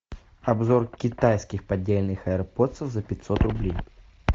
обзор китайских поддельных айрподсов за пятьсот рублей